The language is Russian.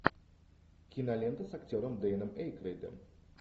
кинолента с актером дэном эйкройдом